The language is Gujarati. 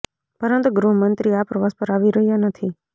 પરંતુ ગૃહમંત્રી આ પ્રવાસ પર આવી રહ્યા નથી